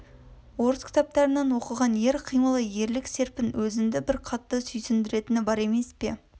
орыс кітаптарынан оқыған ер қимылы ерлік серпін өзінді бір қатты сүйсіндіретіні бар емес пе